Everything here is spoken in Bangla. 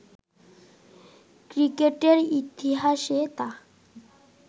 ক্রিকেটের ইতিহাসে তা